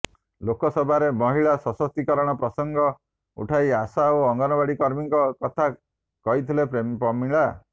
ଲୋକସଭାରେ ମହିଳା ସଶକ୍ତୀକରଣ ପ୍ରସଙ୍ଗ ଉଠାଇ ଆଶା ଓ ଅଙ୍ଗନୱାଡି କର୍ମୀଙ୍କ କଥା କହିଥିଲେ ପ୍ରମିଳା